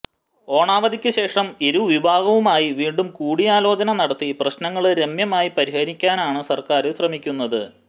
ഓണാവധിക്ക് ശേഷം ഇരുവിഭാഗവുമായി വീണ്ടും കൂടിയാലോചന നടത്തി പ്രശ്നങ്ങള് രമ്യമായി പരിഹരിക്കാനാണ് സര്ക്കാര് ശ്രമിക്കുന്നത്